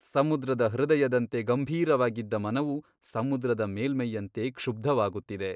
ಸಮುದ್ರದ ಹೃದಯದಂತೆ ಗಂಭೀರವಾಗಿದ್ದ ಮನವು ಸಮುದ್ರದ ಮೇಲ್ಮೈಯಂತೆ ಕ್ಷುಬ್ಧವಾಗುತ್ತಿದೆ.